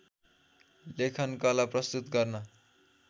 लेखनकला प्रस्तुत गर्न